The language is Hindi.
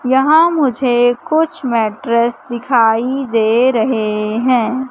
यहां मुझे कुछ मैटरेस दिखाई दे रहे हैं।